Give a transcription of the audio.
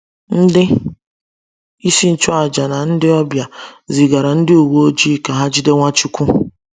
Ndị isi nchụaja na ndị ọbịa zigara ndị uwe ojii ka ha jide Nwachukwu.